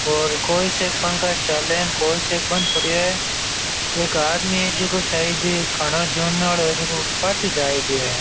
और कोई से पंखा चले कौन से न बंद पड़े हैं एक आदमी है जो कोई साइड मे खड़ा है --